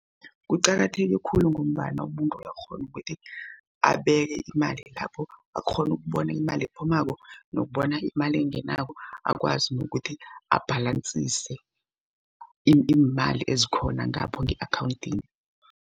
Kuqakatheke khulu ngombana umuntu uyakghona ukuthi abeke imali lapho. Akghone ukubona imali ephumako nokubona imali engenako, akwazi nokuthi ibhalansise iimali ezikhona ngapho nge-akhawundini.